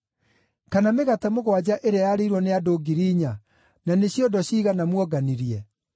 Kana mĩgate mũgwanja ĩrĩa yarĩirwo nĩ andũ ngiri inya, na nĩ ciondo ciigana muonganirie?